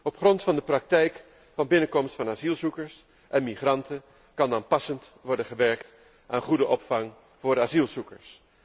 Op grond van de praktijk van binnenkomst van asielzoekers en migranten kan dan passend worden gewerkt aan goede opvang voor asielzoekers.